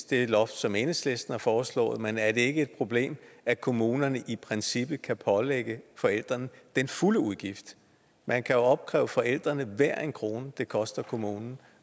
det loft som enhedslisten har foreslået men er det ikke et problem at kommunerne i princippet kan pålægge forældrene den fulde udgift man kan opkræve forældrene hver en krone det koster kommunen